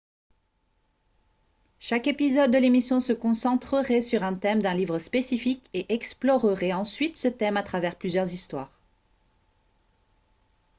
chaque épisode de l'émission se concentrerait sur un thème d'un livre spécifique et explorerait ensuite ce thème à travers plusieurs histoires